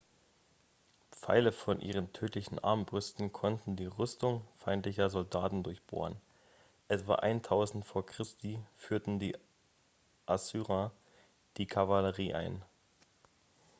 pfeile von ihren tödlichen armbrüsten konnten die rüstung feindlicher soldaten durchbohren etwa 1000 v. chr. führten die assyrer die kavallerie ein